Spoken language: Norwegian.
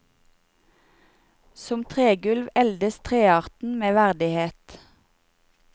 Som tregulv eldes trearten med verdighet.